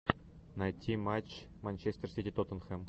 найти матч манчестер сити тоттенхэм